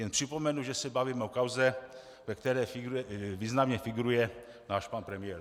Jen připomenu, že se bavíme o kauze, ve které významně figuruje náš pan premiér.